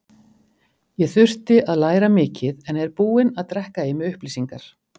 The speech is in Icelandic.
Ég þurfti að læra mikið en er búinn að drekka í mig upplýsingar.